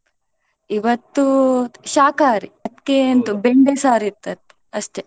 ಇವತ್ತು ಶಾಖಾಹಾರಿ ಅದ್ಕೆ ಬೆಂಡೇ ಸಾರಿತ್ತು ಅಷ್ಟೆ.